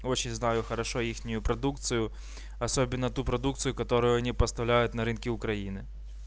очень знаю хорошо их продукцию особенно ту продукцию которую они поставляют на рынки украины